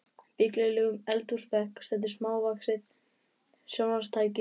billegum eldhúsbekk stendur smávaxið sjónvarpstæki við hliðina á fornfálegum örbylgjuofni.